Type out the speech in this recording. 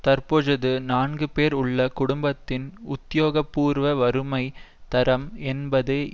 தற்பொஜூது நான்கு பேர் உள்ள குடும்பத்தின் உத்தியோகபூர்வ வறுமை தரம் என்பது